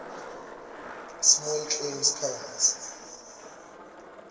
small claims court